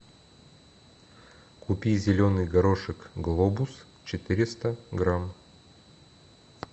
купи зеленый горошек глобус четыреста грамм